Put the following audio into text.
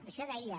això deia